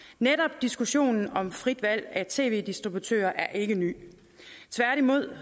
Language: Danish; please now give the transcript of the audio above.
netop diskussionen om frit valg af tv distributør er ikke ny tværtimod